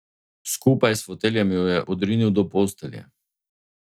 Skupaj s foteljem jo je odrinil do postelje.